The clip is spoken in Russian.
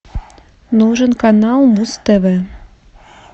нужен канал муз тв